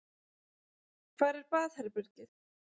Hvar er baðherbergið?